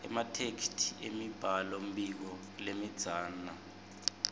ematheksthi emibhalombiko lemidzana